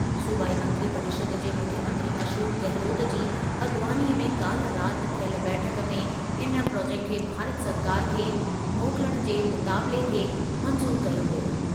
सूबाई मंत्री परिषद जे मुख्यमंत्री अशोक गहलोत जी अॻवानीअ में काल्हि राति थियल बैठक में इन प्रोजेक्ट खे भारत सरकार खे मोकिलण जे मुतालिबे खे मंज़ूरु कयो वियो।